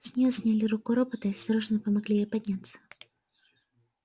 с нее сняли руку робота и осторожно помогли ей подняться